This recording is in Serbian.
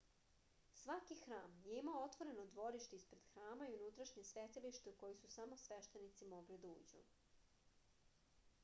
svaki hram je imao otvoreno dvorište ispred hrama i unutrašnje svetilište u koji su samo sveštenici mogli da uđu